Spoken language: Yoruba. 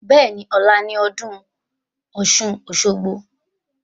Bẹ́ẹ̀ni, ọ̀la ni ọdún ọ̀ṣun-òṣogbo